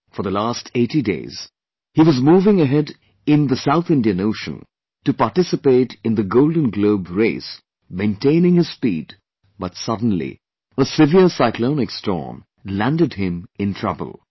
For the last 80 days, he was moving ahead in South Indian Ocean to participate in the Golden Globe Race maintaining his speed but suddenly a severe cyclonic storm landed him in trouble